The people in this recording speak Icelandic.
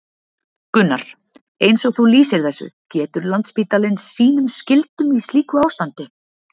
Gunnar: Eins og þú lýsir þessu, getur Landspítalinn sínum skyldum í slíku ástandi?